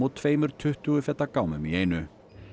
tveimur tuttugu feta gámum í einu